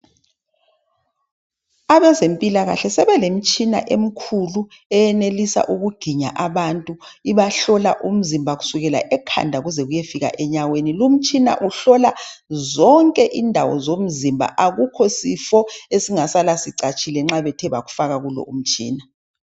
Abezempilakahle sebelemtshina emkhulu eyenelisa ukuginya abantu ibahlola umzimba kusukela ekhanda kuze kuyefika enyaweni. Lumtshina uhlola zonke indawo zomzimba akukho sifo esingasala sicatshile nxa bethe bakufaka kulowomtshina.